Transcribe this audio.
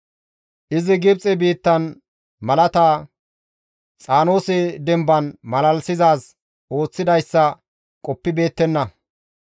Izi Gibxe biittan malaata, Xaanoose demban malalisizaaz ooththidayssa qoppibeettenna.